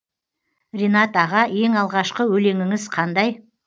ринат аға ең алғашқы өлеңіңіз қандай